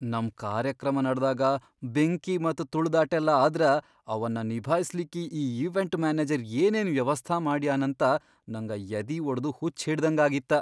ನಮ್ ಕಾರ್ಯಕ್ರಮ ನಡದಾಗ ಬೆಂಕಿ ಮತ್ತ್ ತುಳದಾಟೆಲ್ಲಾ ಆದ್ರ ಅವನ್ನ ನಿಭಾಸ್ಲಿಕ್ಕಿ ಈ ಈವೆಂಟ್ ಮ್ಯಾನೆಜರ್ ಏನೇನ್ ವ್ಯವಸ್ಥಾ ಮಾಡ್ಯಾನಂತ ನಂಗ ಯದಿವಡದು ಹುಚ್ಚ್ಹಿಡ್ದಂಗಾಗಿತ್ತ.